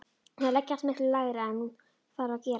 Þær leggjast miklu lægra en hún þarf að gera.